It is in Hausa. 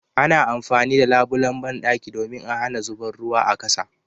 Ana amfani da labulan banɗaki domin a hana zuban ruwa a kasa